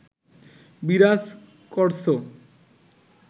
বিরাজ করছ